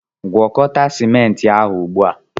Gwakọta ciment ahụ ugbu a!